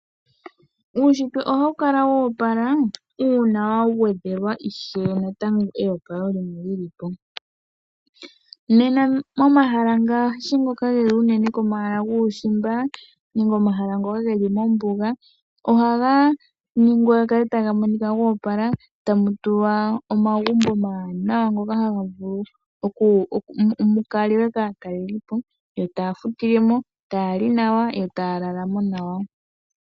Uushitwe ohawu kala wo opala uuna wagwedhelwa ishewe natango eopalo limwe lilipo .Nena momahala ngaashi ngoka geli unene komahala guushimba nenge omahala ngoka geli mombuga . Ohaga ningwa ga kale taga monoka go opala tamu tulwa omagumbo ngoka omawanawa taga vulu mukalwe kaatalelipo taya futilemo, tayali nawa yo taya lalamo nawa.